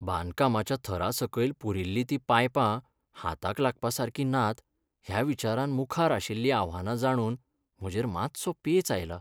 बांदकामाच्या थरां सकयल पुरिल्लीं तीं पायपां हाताक लागपासारकीं नात ह्या विचारान मुखार आशिल्लीं आव्हानां जाणून म्हजेर मात्सो पेंच आयला.